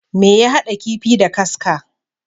Me ya haɗa kifii da kaska?